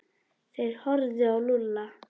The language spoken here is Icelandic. Þeir horfðu á Lúlla.